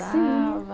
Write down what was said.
Sim...